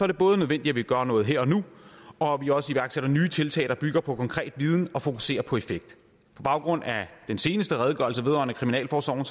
det både nødvendigt at vi gør noget her og nu og at vi også iværksætter nye tiltag der bygger på konkret viden og fokuserer på effekt på baggrund af den seneste redegørelse vedrørende kriminalforsorgen